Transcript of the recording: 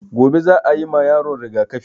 Gobe za a yima yaron rigaƙafi